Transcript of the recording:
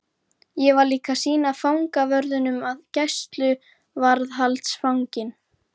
Ég var líka að sýna fangavörðunum að gæsluvarðhaldsfanginn